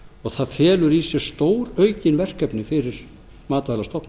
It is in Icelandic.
og það felur í sér stóraukin verkefni fyrir matvælastofnun